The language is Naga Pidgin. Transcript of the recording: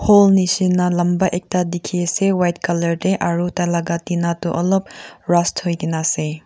wall nisna lamba ekta dekhi ase white colour te aru tar laga tina tu olop rust hoi kina ase.